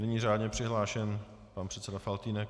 Nyní řádně přihlášen pan předseda Faltýnek.